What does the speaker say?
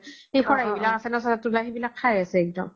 সেই খৰাহি বিলাক আছে ন চাজাত তুলা সেই বিলাক খাই আছে একদম